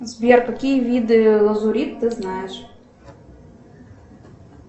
сбер какие виды лазурит ты знаешь